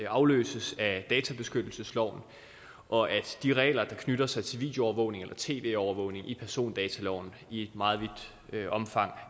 afløses af databeskyttelsesloven og at de regler der knytter sig til videoovervågning eller tv overvågning i persondataloven i et meget vidt omfang